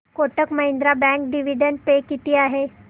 Kotak Mahindra bank dividend pay किती आहे